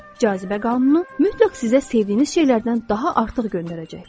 Cazibə qanunu mütləq sizə sevdiyiniz şeylərdən daha artıq göndərəcəkdir.